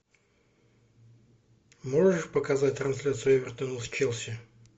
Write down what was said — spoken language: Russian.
можешь показать трансляцию эвертона с челси